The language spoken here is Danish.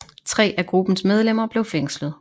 Tre af gruppens medlemmer blev fængslet